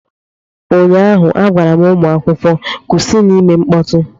Ụnyaahụ, a gwara m ụmụ akwụkwọ, kwụsịnụ ime mkpọtụ!